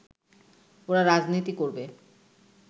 ওরা রাজনীতি করবে